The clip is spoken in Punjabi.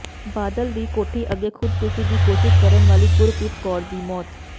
ਬਾਦਲ ਦੀ ਕੋਠੀ ਅੱਗੇ ਖੁਦਕੁਸ਼ੀ ਦੀ ਕੋਸ਼ਿਸ਼ ਕਰਨ ਵਾਲੀ ਗੁਰਪ੍ਰੀਤ ਕੌਰ ਦੀ ਮੌਤ